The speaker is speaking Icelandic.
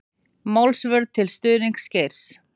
Málsvörn til stuðnings Geir